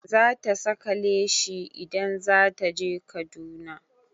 Za ta saka leshi in zata je Kaduna